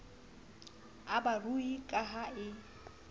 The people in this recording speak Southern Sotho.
a barui ka ha e